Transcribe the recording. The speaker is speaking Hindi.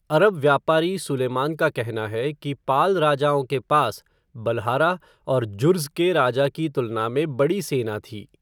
अरब व्यापारी सुलेमान का कहना है कि पाल राजाओं के पास बलहारा और जुर्ज़ के राजा की तुलना में बड़ी सेना थी।